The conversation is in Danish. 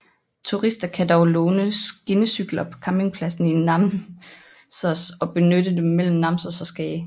Turister kan dog låne skinnecykler på campingpladsen i Namsos og benytte dem mellem Namsos og Skage